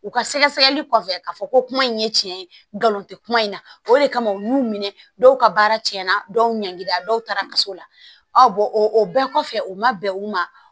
U ka sɛgɛsɛgɛli kɔfɛ k'a fɔ ko kuma in ye tiɲɛ ye nkalon tɛ kuma in na o de kama u y'u minɛ dɔw ka baara tiɲɛna dɔw ɲangira dɔw taara ka s'o la ɔ o o bɛɛ kɔfɛ u ma bɛn u ma